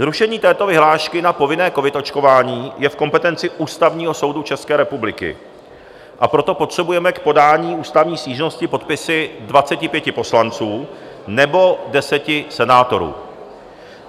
Zrušení této vyhlášky na povinné covid očkování je v kompetenci Ústavního soudu České republiky, a proto potřebujeme k podání ústavní stížnosti podpisy 25 poslanců nebo 10 senátorů.